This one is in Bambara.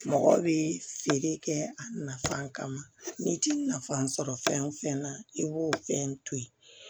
Mɔgɔ bɛ feere kɛ a nafa kama n'i ti nafa sɔrɔ fɛn o fɛn na i b'o fɛn to yen